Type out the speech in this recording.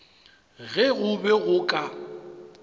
ge go be go ka